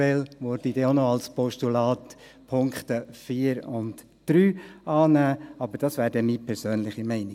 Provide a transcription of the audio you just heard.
Eventuell werde ich auch die Punkte 3 und 4 als Postulat annehmen, aber das wäre dann meine persönliche Meinung.